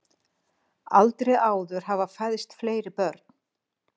Aldrei áður hafa fæðst fleiri börn